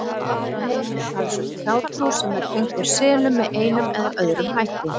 Víða um heim er talsverð hjátrú sem tengd er selum með einum eða öðrum hætti.